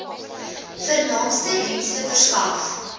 vernaamste dienste verskaf